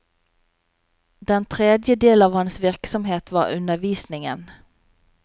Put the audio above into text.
Den tredje del av hans virksomhet var undervisningen.